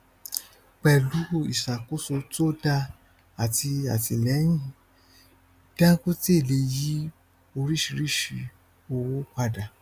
pẹlú ìṣàkóso to dáa àti àtìlẹyìn dangote lè yí oríṣìíríṣìí owó padà